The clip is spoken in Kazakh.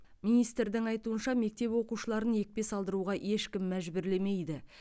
министрдің айтуынша мектеп оқушыларын екпе салдыруға ешкім мәжбүрлемейді